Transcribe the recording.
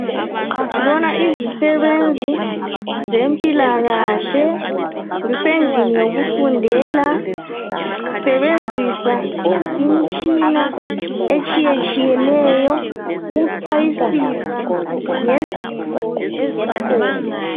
Sibona izisebenzi zempilakahle zisendlini yokufundela zisebenzisa imitshina etshiye tshiyeneyo ukuchwayisisa ngezifo ezikhona.